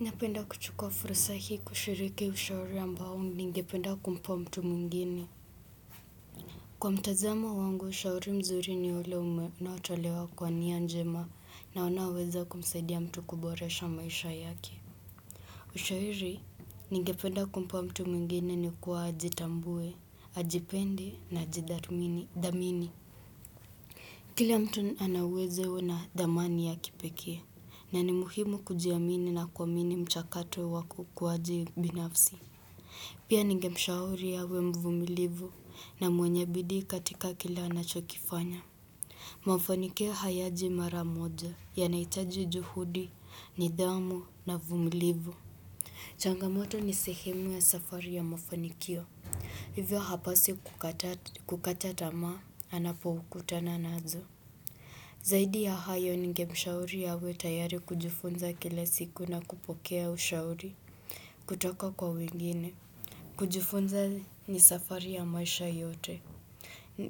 Napenda kuchukua furusa hii kushiriki ushauri ambao ningependa kumpa mtu mwengini. Kwa mtazamo wangu, ushauri mzuri ni ule ume na utolewa kwa nia njema na onaweza kumsaidia mtu kuboresha maisha yake. Ushauri, ningependa kumpa mtu mwengine ni kuwa ajitambue, ajipende na ajidharmini, dhamini. Kila mtu ana uwezo na dhamani ya kipekee, na ni muhimu kujiamini na kuwamini mchakato waku kuwaji binafsi. Pia ningemshauri awe mvumilivu na mwenye bidii katika kila anachokifanya. Mafanikio hayaji maramoja yanahitaji juhudi, nidhami na vumilivu. Changamoto ni sehimu ya safari ya mafonikio. Hivyo hapo sikukata kukata tamaa anapo kutana nazo. Zaidi ya hayo ningemshauri awe tayari kujifunza kila siku na kupokea ushauri kutoka kwa wengine. Kujifunza ni safari ya maisha yote.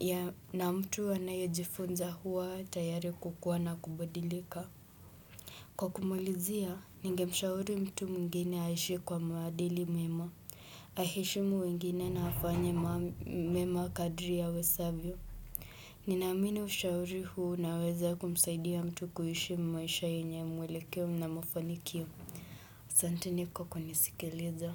Ya na mtu anayejifunza huwa tayari kukuwa na kubadilika. Kwa kumulizia, ninge mshauri mtu mwngine aishi kwa maadili mema Aheshimu wengine na afanye mema kadri awezavyo. Ninaamini ushauri huu unaweza kumsaidia mtu kuishi maisha yenye mwelekeo na mafanikio. Asanteni kwa kunisikiliza.